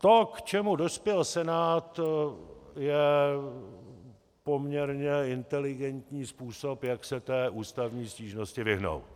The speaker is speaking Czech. To, k čemu dospěl Senát, je poměrně inteligentní způsob, jak se té ústavní stížnosti vyhnout.